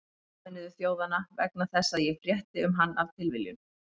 Sameinuðu þjóðanna, vegna þess að ég frétti um hann af tilviljun.